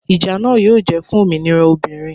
Ìjà náà yóò jẹ́ fún òmìnira obìnrin